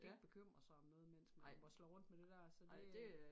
Kan ikke bekymre sig om noget mens man mosler rundt med det der så det øh